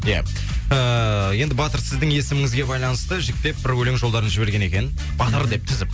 ия ыыы енді батыр сіздің есіміңізге байланысты жіктеп бір өлең жолдарын жіберген екен батыр деп тізіп